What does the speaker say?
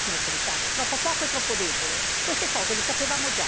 Noi chiediamo cosa si può fare per il futuro e cosa si può fare di più.